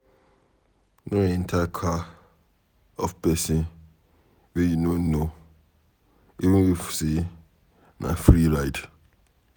No enter car of pesin wey you no know even if say na free ride.